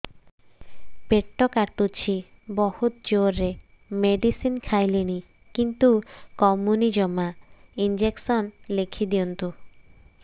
ପେଟ କାଟୁଛି ବହୁତ ଜୋରରେ ମେଡିସିନ ଖାଇଲିଣି କିନ୍ତୁ କମୁନି ଜମା ଇଂଜେକସନ ଲେଖିଦିଅନ୍ତୁ